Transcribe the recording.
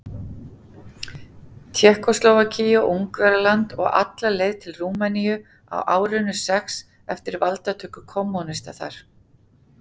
Tékkóslóvakíu og Ungverjaland og alla leið til Rúmeníu á árinu sex eftir valdatöku kommúnista þar.